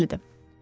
Yəqin dəlidir.